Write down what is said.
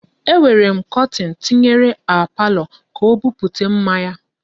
E nwere kọtin m tinyere a palọ ka o buputa mma ya.